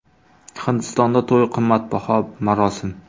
Hindistonda to‘y qimmatbaho marosim.